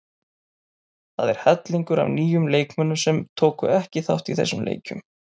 Það er hellingur af nýjum leikmönnum sem tóku ekki þátt í þessum leikjum.